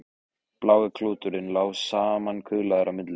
Blái klúturinn lá samankuðlaður á milli þeirra.